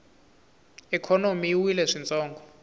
ikhonomi yi wile swintsongo